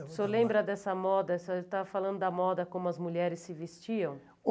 O senhor lembra dessa moda, o senhor estava falando da moda como as mulheres se vestiam?